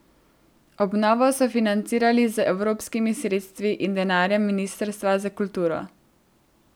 Obnovo so financirali z evropskimi sredstvi in denarjem ministrstva za kulturo.